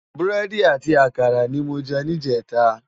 Búrèdi àti àkárá ni mó jè nijètá